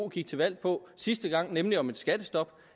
gik til valg på sidste gang nemlig om et skattestop